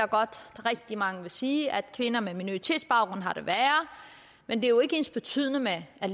rigtig mange vil sige at kvinder med minoritetsbaggrund har det værre men det er jo ikke ensbetydende med at